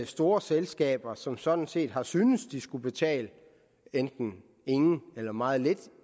store selskaber som sådan set har syntes at de skulle betale enten ingen eller meget lidt